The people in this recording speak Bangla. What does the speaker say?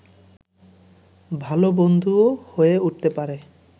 ভালো বন্ধুও হয়ে উঠতে পারে